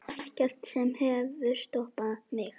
Ekkert sem hefur stoppað mig.